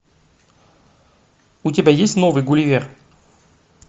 у тебя есть новый гулливер